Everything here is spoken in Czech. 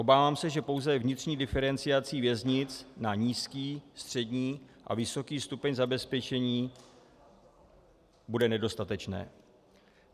Obávám se, že pouze vnitřní diferenciace věznic na nízký, střední a vysoký stupeň zabezpečení bude nedostatečná.